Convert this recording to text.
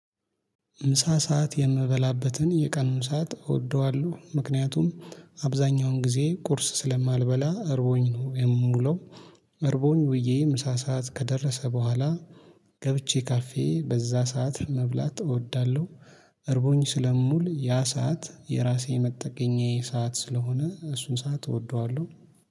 ምሳ ሰዓት የምበላበትን የቀኑን ሰዓት እወደዋለሁ ምክንያቱም አብዛኛውን ጊዜ ቁርስ ስለማልበላ እርቦኝ ነው የምውለው እርቦኝ ውዬ ምሳ ሰዓት ከደረሰ በኋላ ገብቼ ካፌ በዛ ሰዓት መብላት እወዳለሁ እርቦኝ ስለምውል ያ ሰዓት የራሴ መጠገኛዬ ሰዓት ስለሆነ እሱን ሰዓት እወደዋለሁ።